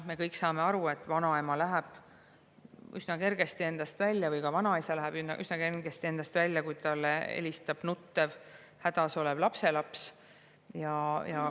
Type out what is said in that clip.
Me kõik saame aru, et vanaema või ka vanaisa läheb üsna kergesti endast välja, kui talle helistab nuttev ja hädas olev lapselaps.